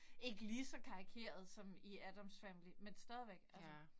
Ikke lige så karikeret som i Addams family men stadigvæk altså